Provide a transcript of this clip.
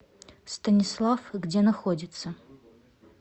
станислав где находится